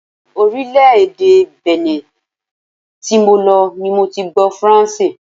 Orílè-èdè Benin tí mo lọ ni mo ti gbó Faranse.